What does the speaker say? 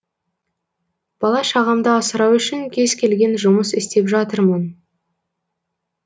бала шағамды асырау үшін кез келген жұмыс істеп жатырмын